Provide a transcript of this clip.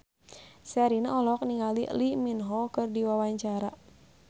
Sherina olohok ningali Lee Min Ho keur diwawancara